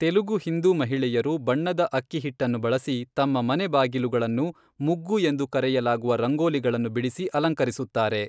ತೆಲುಗು ಹಿಂದೂ ಮಹಿಳೆಯರು ಬಣ್ಣದ ಅಕ್ಕಿ ಹಿಟ್ಟನ್ನು ಬಳಸಿ ತಮ್ಮ ಮನೆ ಬಾಗಿಲುಗಳನ್ನು ಮುಗ್ಗು ಎಂದು ಕರೆಯಲಾಗುವ ರಂಗೋಲಿಗಳನ್ನು ಬಿಡಿಸಿ ಅಲಂಕರಿಸುತ್ತಾರೆ.